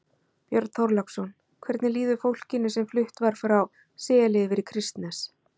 Björn Þorláksson: Hvernig líður fólkinu sem flutt var frá Seli yfir í Kristnes?